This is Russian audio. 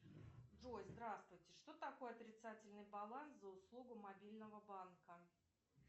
джой здравствуйте что такое отрицательный баланс за услугу мобильного банка